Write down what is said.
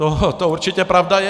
To určitě pravda je.